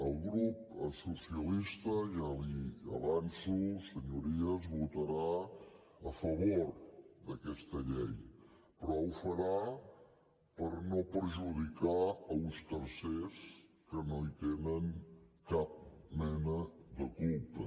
el grup socialista ja els ho avanço senyories votarà a favor d’aquesta llei però ho farà per no perjudicar uns tercers que no hi tenen cap mena de culpa